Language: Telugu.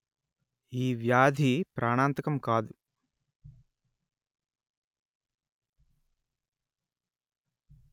ఈ వ్యాధి ప్రాణాంతకం కాదు